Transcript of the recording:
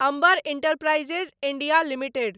Amber Enterprises India limited